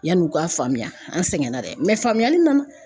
Yanni u ka faamuya an sɛgɛnna dɛ faamuyali nana.